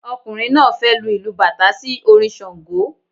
Ọkùnrin náà fẹ lu ìlù bàtá sí orin ṣàngó